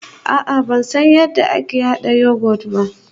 A'a ban san yadda ake hada yoghurt ba